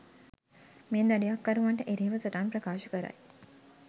මේ දඩයක්කරුවන්ට එරෙහිව සටන් ප්‍රකාශ කරයි.